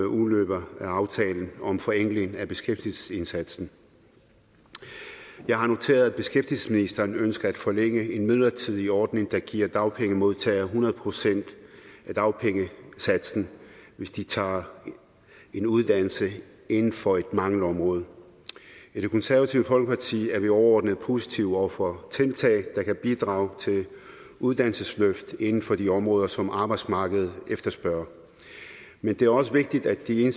udløber af aftalen om forenkling af beskæftigelsesindsatsen jeg har noteret mig at beskæftigelsesministeren ønsker at forlænge en midlertidig ordning der giver dagpengemodtagere hundrede procent af dagpengesatsen hvis de tager en uddannelse inden for et mangelområde i det konservative folkeparti er vi overordnet positive over for tiltag der kan bidrage til uddannelsesløft inden for de områder som arbejdsmarkedet efterspørger men det er også vigtigt at de